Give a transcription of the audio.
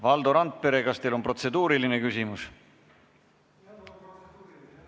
Valdo Randpere, kas teil on protseduuriline küsimus?